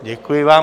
Děkuji vám.